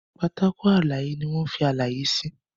Pátákó àlàyé ní wón fí àlàyé sí.